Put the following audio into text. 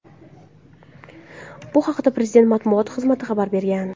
Bu haqda Prezident matbuot xizmati xabar bergan .